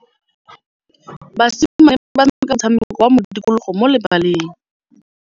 Basimane ba tshameka motshameko wa modikologô mo lebaleng.